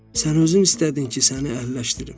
Sən özün istədin ki, səni əhilləşdirim.